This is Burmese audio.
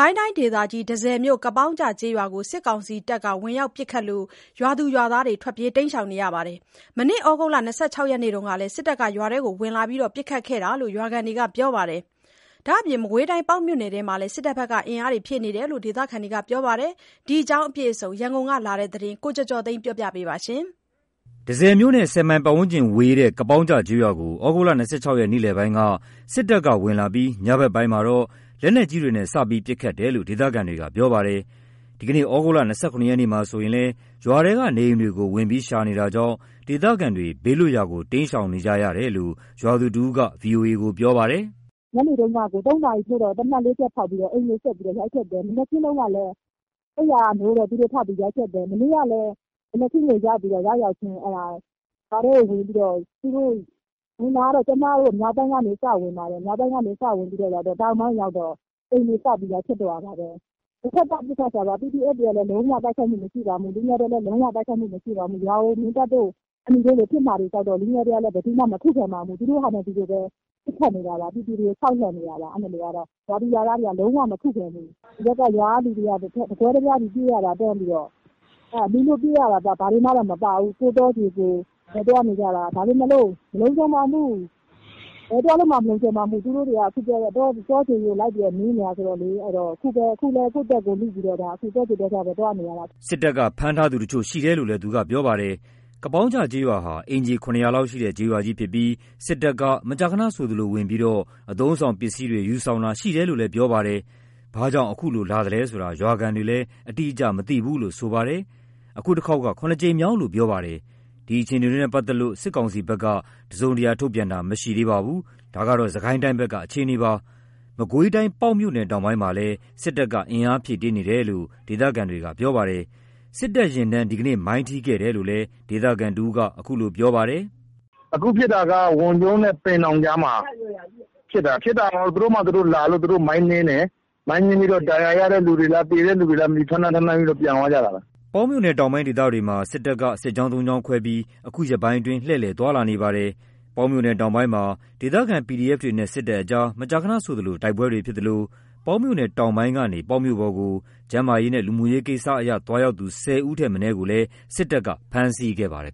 ိုင်းတိုင်းဒေသကြီး၊ တန့်ဆည်မြို့၊ ကပေါင်းကျကျေးရွာကို စစ်ကောင်စီတပ်တွေ ဝင်ရောက်ပစ်ခတ်လို့ ရွာသူရွာသားတွေ ထွက်ပြေးတိမ်းရှောင်နေကြရပါတယ်။ မနေ့ သြဂုတ်လ ၂၆ ရက်နေ့ထဲက စစ်တပ်က ရွာထဲဝင်လာပြီး ပစ်ခတ်ခဲ့တာလို့ ရွာခံတွေက ပြောပြပါတယ်။ မကွေးတိုင်း ပေါက်မြို့နယ်ထဲမှာလည်း စစ်တပ်ဘက်က အင်အားတွေဖြည့်နေတယ်လို့ ဒေသခံတွေက ပြောပါတယ်။ ဒီအကြောင်းအပြည့်အစုံ ရန်ကုန်ကလာတဲ့သတင်းကို ကိုကျော်ကျော်သိန်းကပြောပြပါမယ်။ တန့်ဆည်မြို့နဲ့ ၁၀ မိုင်ဝေးတဲ့ ကပေါင်းကျကျေးရွာကို သြဂုတ် ၂၆ ရက် နေ့လည်ပိုင်းက စစ်ကောင်စီတပ်တွေ ဝင်ရောက်လာပြီး ညဘက်ပိုင်းမှာတော့ လက်နက်ကြီးတွေနဲ့ စတင်ပစ်ခတ်တယ်လို့ ဒေသခံတွေကပြောပါတယ်။ ဒီကနေ့ သြဂုတ် ၂၇ ရက်မှာဆိုရင်လည်း ရွာထဲက နေအိမ်တွေကို ဝင်ရောက်ရှာဖွေနေတာကြောင့် ဒေသခံတွေက ဘေးလွတ်ရာကို တိမ်းရှောင်နေကြရတယ်လို့ ရွာသူတဦးက ဗွီအိုအေကိုပြောပါတယ်။ “ညနေတုန်းကကို ၃ နာရီထိုးတော့ သေနတ် ၄ ချက်ဖောက်ပြီးတော့ အိမ်တွေကို ရိုက်ဖျက်တယ်။ မနက်ကလည်း သူတို့ အိပ်ယာက နိုးနိုးချင်း အိမ်တွေကို ရိုက်ဖျက်တယ်။ မနေ့ကလည်း သူတို့ရောက်ရောက်ချင်း ဖျက်တယ်။ ဝင်တာကတော့ ကျမတို့ မြောက်ပိုင်းကနေစဝင်တယ်။ တောင်ပိုင်းရောက်တော့ အိမ်တွေကိုစပြီး ရိုက်ဖျက်တော့တာပါပဲ။ တဖက်သတ် ပစ်ခတ်တာပါ။ PDF တွေက လုံးဝတိုက်ခိုက်တာမရှိပါဘူး။ လူငယ်တွေကလည်း လုံး၀ တိုက်ခိုက်မှုမရှိပါဘူး။ ရွာကိုအမြင်ကပ်တာတွေ ဘာတွေဖြစ်မှာကြောက်တော့ လူငယ်တွေကလည်း ဘယ်သူမှ မခုခံပါဘူး။ သူတို့ဟာ သူတို့ပဲ ပစ်ခတ်နေတာပါ။ ပြည်သူတွေကို ခြောက်လှန့်နေတာပါ။ ရွာသူရွာသားတွေကတော့ လုံးဝကို မခုခံဘူး။ ရွာကလူတွေက တကွဲတပြားစီပြေးရတာ တန်းပြီးတော့။ လူလွတ်ပြေးရတာ ဘာမှကိုမပါဘူး။ တောတွေထဲ သွားနေကြတာ။ ဒါပေမယ့်လို့ မလုံခြုံပါဘူး။ ဘယ်သွားလို့မှ မလုံခြုံပါဘူး။ သူတို့တွေက တောတွေပါ နင်းနေတာဆိုတော့ အခုလည်း ကိုယ့်အသက်ကိုယ်လုပြီး တောကြိုတောကြားထဲ သွားနေရတာ။” စစ်တပ်က ဖမ်းဆီးထားသူတချို့ရှိတယ်လို့လည်း သူကပြောပါတယ်။ ကပေါင်းကျကျေးရွာဟာ အိမ်ခြေ ၇၀၀ ခန့် ရှိတဲ့ ကျေးရွာကြီးဖြစ်ပြီး စစ်ကောင်စီတပ်တွေ မကြာခဏဆိုသလို ဝင်ရောက်ပြီး အသုံးအဆောင်ပစ္စည်းတွေ ယူဆောင်တာ ရှိတယ်လို့လည်း ပြောပါတယ်။ ဘာကြောင့် ခုလို လာသလဲဆိုတာ ရွာခံတွေလည်း အတိအကျမသိဘူးလို့ ဆိုပါတယ်။ အခုတခေါက်က ၇ ကြိမ်မြောက်လို့ပြောပါတယ်။ ဒီအခြေအနေတွေနဲ့ပတ်သက်လို့စစ်ကောင်စီဘက်က တစုံတရာထုတ်ပြန်တာ မရှိသေးပါဘူး။ ဒါက စစ်ကိုင်းတိုင်းက အခြေအနေပါ။ မကွေးတိုင်း ပေါက်မြို့နယ်တောင်ပိုင်းမှာလည်း စစ်ကောင်စီတပ်တွေ အင်အားဖြည့်တင်းနေတယ်လို့ဒေသခံတွေက ပြောပါတယ်။ စစ်ကောင်စီယာဉ်တန်း ဒီနေ့ မိုင်းထိခဲ့တယ်လို့လည်း ဒေသခံတဦးက အခုလို ပြောပါတယ်။ “အခုဖြစ်တာက ဝန်ကျုံးနဲ့ ပင်လောင်ကြားမှာဖြစ်တာ။ ဖြစ်တာကတော့ သူတို့ဘာသာ သူတို့လာလို့ မိုင်းနင်းတယ်။ မိုင်းနင်းပြီးတော့ ဒဏ်ရာရတဲ့သူတွေလား သေတဲ့သူတွေလား မသိဘူး။ ထမ်းပြီးတော့ ပြန်သွားကြတာပဲ။” ပေါက်မြို့နယ်တောင်ပိုင်းဒေသတွေမှာ စစ်ကောင်စီက စစ်ကြောင်း ၃ ကြောင်းခွဲပြီး အခုရက်ပိုင်း လှည့်လည် သွားလာနေပါတယ်။ ပေါက်မြို့နယ်တောင်ပိုင်းမှာ ဒေသခံ PDF တွေနဲ့ စစ်ကောင်စီတပ်တွေ မကြာခဏဆိုသလို တိုက်ပွဲတွေ ဖြစ်သလို ပေါက်မြို့နယ် တောင်ပိုင်းကနေ ပေါက်မြို့ပေါ်ကို ကျန်းမာရေး လူမှုရေးကိစ္စ သွားရောက်သူ ၁၀ ဦး ထက်မနည်းကိုလည်း စစ်ကောင်စီတပ်တွေ ဖမ်းဆီးခဲ့ပါတယ်